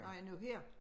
Nej nu her